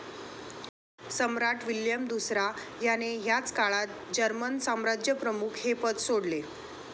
सम्राट William दुसरा ह्याने ह्याच काळात जर्मन साम्राज्यप्रमुख हे पद सोडले.